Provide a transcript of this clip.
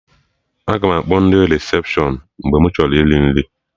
Aga m akpọ ndị resepshọn mgbe mụ chọrọ iri nri